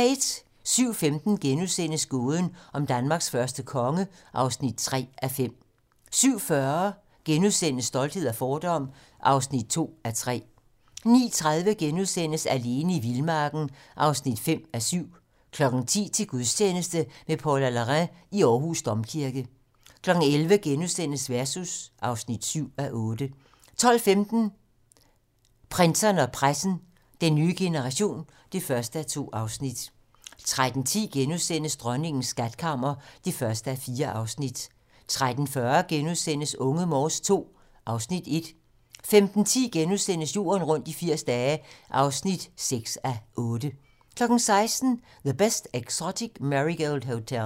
07:15: Gåden om Danmarks første konge (3:5)* 07:40: Stolthed og fordom (2:3)* 09:30: Alene i vildmarken (5:7)* 10:00: Til gudstjeneste med Paula Larrain i Aarhus Domkirke 11:00: Versus (7:8)* 12:15: Prinserne og pressen - Den nye generation (1:2) 13:10: Dronningens skatkammer (1:4)* 13:40: Unge Morse II (Afs. 1)* 15:10: Jorden rundt i 80 dage (6:8)* 16:00: The Best Exotic Marigold Hotel